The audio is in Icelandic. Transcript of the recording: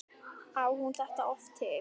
Á hún þetta oft til?